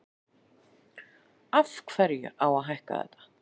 Af hverju á að hækka þetta?